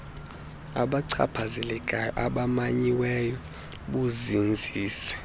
babachaphazelekayo abamanyiweyo buzinzise